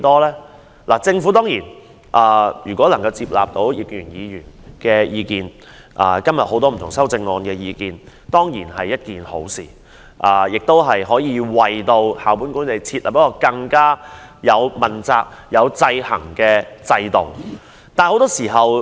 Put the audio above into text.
如果政府能夠接納葉建源議員的原議案及議員修正案的意見，當然是好事，可為校本管理設立一套更具問責及制衡效果的制度。